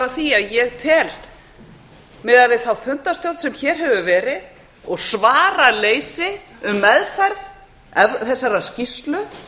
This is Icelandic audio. því að ég tel miðað við þá fundarstjórn sem hér hefur verið og svaraleysi um meðferð þessarar skýrslu